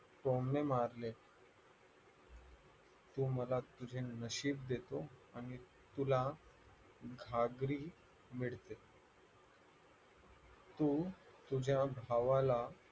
टोमणे मारले तू मला तुझे नशीब देतो आणि तुला घागरी मिळते तू तुझ्या भावाला